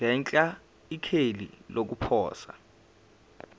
ngenhla ikheli lokuposa